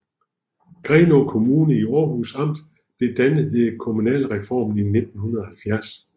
Grenaa Kommune i Århus Amt blev dannet ved kommunalreformen i 1970